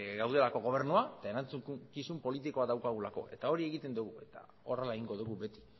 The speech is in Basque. gaudelako gobernua eta erantzukizun politikoa daukagulako eta hori egiten dugu eta horrela egingo dugu beti